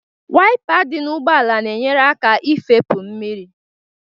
Wayịpa dị n'ụgbọala na-enyere aka ifepụ mmiri